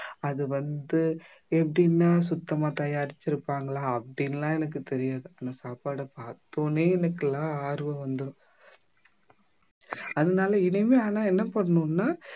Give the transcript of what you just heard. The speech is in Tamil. அது வந்து எப்படின்னா சுத்தமா தயாரிச்சிருப்பாங்களா அப்படின்னு எல்லாம் எனக்குத் தெரியாது ஆனா சாப்பாடை பார்த்த உடனே எனக்கெல்லாம் ஆர்வம் வந்துரும் அதனால இனிமே ஆனா என்ன பண்ணணும்னா